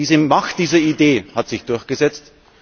Die Macht dieser Idee hat sich durchgesetzt.